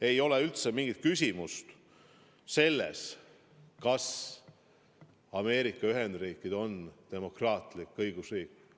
Ei ole üldse mingit küsimust, kas Ameerika Ühendriigid on demokraatlik õigusriik.